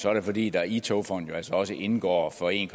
er det fordi der i togfonden altså også indgår for en